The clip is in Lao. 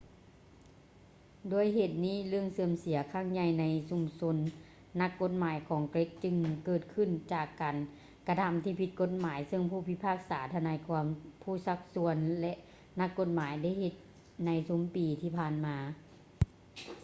ດ້ວຍເຫດນີ້ ເລື່ອງເສື່ອມເສຍຄັ້ງໃຫຍ່ໃນຊຸມຊົນນັກກົດໝາຍຂອງເກຣັກຈຶ່ງເກີດຂຶ້ນຈາກການກະທຳທີ່ຜິດກົດໝາຍເຊິ່ງຜູ້ພິພາກສາ ທະນາຍຄວາມ ຜູ້ຊັກຊວນ ແລະ ນັກກົດໝາຍໄດ້ເຮັດໃນຊຸມປີທີ່ຜ່ານມາ